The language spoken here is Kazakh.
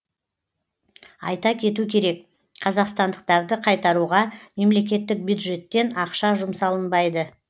айта кету керек қазақстандықтарды қайтаруға мемлекеттік бюджеттен ақша жұмсалынбайды